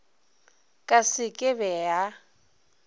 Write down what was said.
ka se ke be ya